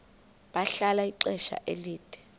bahlala ixesha elide